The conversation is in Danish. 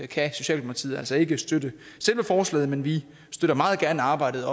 kan socialdemokratiet altså ikke støtte selve forslaget men vi støtter meget gerne arbejdet